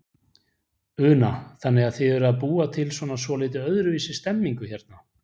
Una: Þannig að þið eruð að búa til svona svolítið öðruvísi stemningu hérna?